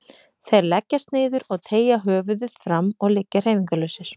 Þeir leggjast niður og teygja höfuðið fram og liggja hreyfingarlausir.